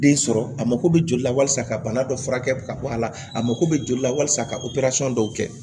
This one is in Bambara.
Den sɔrɔ a mako bɛ joli la walasa ka bana dɔ furakɛ ka bɔ a la a mako bɛ joli la walasa ka dɔw kɛ